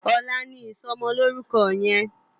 Òlà ni isòmòlórúkò yèn